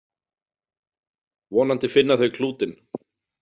Vonandi finna þau klútinn.